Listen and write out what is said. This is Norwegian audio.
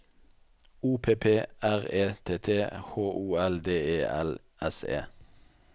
O P P R E T T H O L D E L S E